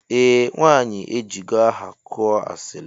Eeh nwanyi ejigo aha kụọ asili.